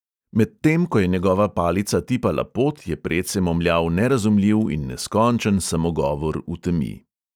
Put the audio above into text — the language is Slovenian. Medtem ko je njegova palica tipala pot, je predse momljal nerazumljiv in neskončen samogovor v temi.